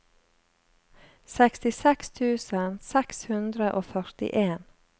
sekstiseks tusen seks hundre og førtien